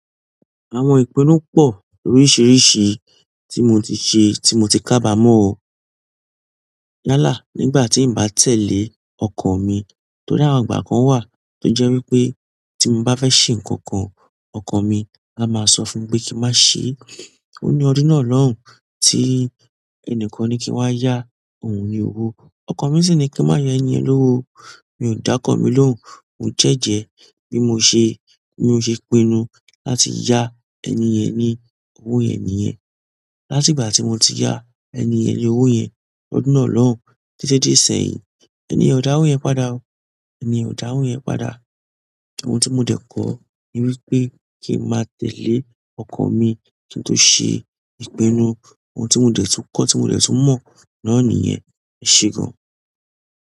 Àwọn igbona pọ ló risirisi tí mo ti ṣe ti mó ti ka abamọ. Yálà nígbà tí n bá tẹ̀lé ọkan mi tó ri àwọn ìgbà kan wà tó jẹ́ wípé tí mo bá fẹ́ ṣe nǹkan kan, ọkan mi a máa sọ fún mi pé kí n má ṣe. Ó ní ọdún náà lọ́hùn tí ẹni kan ní kí n wá yá òun ní owó. Ọkan mi sì ní kí n má yá ènìyàn lówó. Mi ò dá ọkàn mi lóhùn, mo jẹ́jẹ́ bí mo ṣe, bí mo ṣe pinnu láti yá ẹni yen ní owó yẹ nìyẹn. Láti ìgbà tí mo ti yá eniyen ní owó yẹn ọdún náà lọ́hùn títí di ìséyìn, eniyen ò dá owo yẹn padà o. Eniyen ò dá owo yẹn padà. Ohun tí mo dẹ̀ kọ́ ní wípé kí n má tẹ̀lé ọkan mi kí n tó ṣe ìpinnu. Ohun tí mo de tún kọ́ tí mo dẹ̀ tún mọ̀ náà nìyẹn. Ẹ ṣe gan.